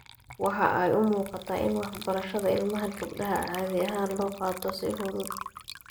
Waxa ay u muuqataa in waxbarashada ilmaha gabdhaha caadi ahaan loo qaato si fudud.